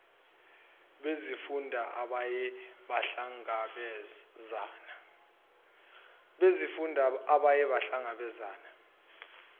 bezifunda abaye bahlangabezane